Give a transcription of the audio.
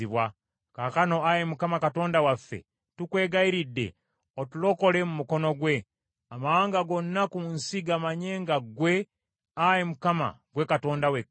Kaakano, Ayi Mukama , Katonda waffe, tukwegayiridde, otulokole mu mukono gwe, amawanga gonna ku nsi gamanye nga ggwe, Ayi Mukama , gwe Katonda wekka.”